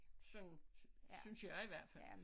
Sådan synes jeg i hvert fald